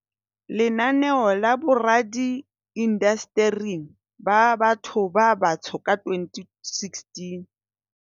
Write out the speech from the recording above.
Lenaneo la Boradi indasteri ba Batho ba Batsho ka 2016.